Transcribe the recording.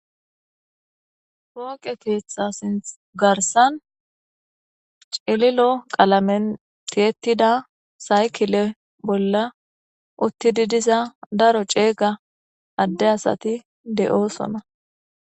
pooqe keetha sinth garsan cililo qalamentietida saykile bolla uttidi diza daro ceega adde asati de7oosona